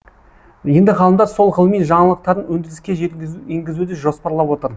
енді ғалымдар сол ғылыми жаңалықтарын өндіріске енгізуді жоспарлап отыр